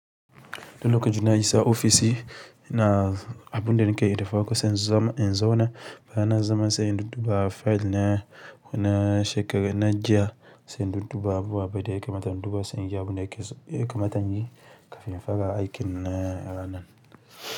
Lokacin na isa a ofis ne ina, abun da nake yi da farko sai in zauna bayan na zauna sai in dudduba 'file' na jiya, sai na dudduba abubuwa da yakamata in duba sai inji abun da ake so, yakamata muyi kafin na aikin na ranan.